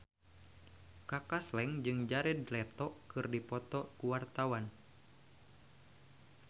Kaka Slank jeung Jared Leto keur dipoto ku wartawan